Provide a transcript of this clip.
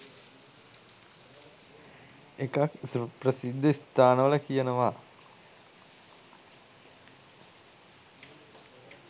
එකක් ප්‍රසිද්ධ ස්ථානවල කියනව